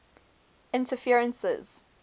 interferences